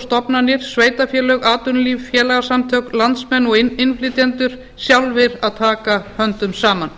stofnanir sveitarfélög atvinnulíf félagasamtök landsmenn og innflytjendur sjálfir að taka höndum saman